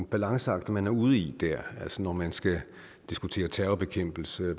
balanceagter man er ude i når man skal diskutere terrorbekæmpelse og